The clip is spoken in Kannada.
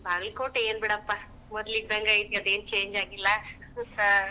ಬಾಗಲಕೋಟಿ ಏನ್ ಬಿಡಪ್ಪಾ ಮೊದಲ ಇದ್ದಾಂಗ ಐತಿ, ಅದ ಏನ್ change ಆಗಿಲ್ಲಾ .